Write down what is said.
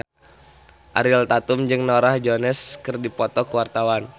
Ariel Tatum jeung Norah Jones keur dipoto ku wartawan